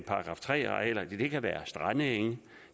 § tre arealer det kan være strandenge